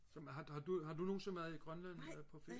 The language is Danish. som har du har du nogensinde været i Grønland eller på ferie